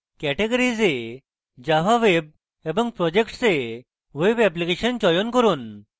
categories এ java web এবং projects এ web application চয়ন করুন